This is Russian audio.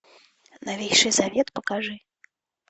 новейший завет покажи